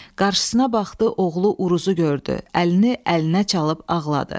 Qarşısına baxdı, oğlu Uruzu gördü, əlini əlinə çalıb ağladı.